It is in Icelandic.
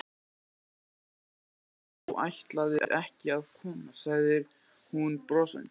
Ég var farin að halda að þú ætlaðir ekki að koma sagði hún brosandi.